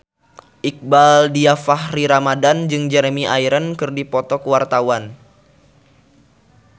Iqbaal Dhiafakhri Ramadhan jeung Jeremy Irons keur dipoto ku wartawan